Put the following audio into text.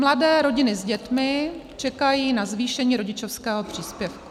Mladé rodiny s dětmi čekají na zvýšení rodičovského příspěvku.